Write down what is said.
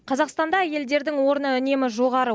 қазақстанда әйелдердің орны үнемі жоғары